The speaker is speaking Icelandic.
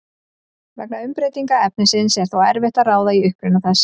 Vegna umbreytingar efnisins er þó erfitt að ráða í uppruna þess.